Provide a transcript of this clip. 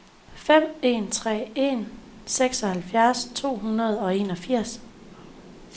fem en tre en seksoghalvfjerds to hundrede og enogfirs